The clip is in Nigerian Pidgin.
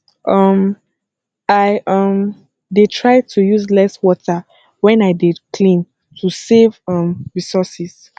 um i um dey try to use less water when i dey clean to save um resources